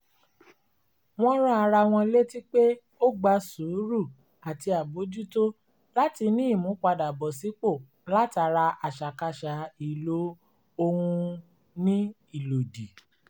wọ́n rán ara wọn létí pé ó gba sùúrù àti àbójútó láti ní ìmúpadàbọ̀sípò látara àṣàkáṣà ìlò ohun ní ìlòdì